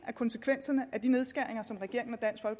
af konsekvenserne af de nedskæringer som regeringen